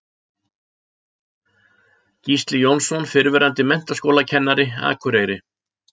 Gísli Jónsson, fyrrverandi menntaskólakennari, Akureyri